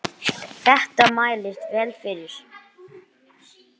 Þetta mælist vel fyrir.